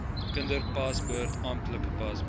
kinderpaspoort amptelike paspoort